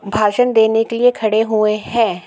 भाषण देने के लिए खड़े हुए हैं।